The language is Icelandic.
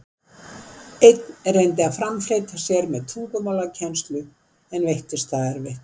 Einn reyndi að framfleyta sér með tungumálakennslu, en veittist það erfitt.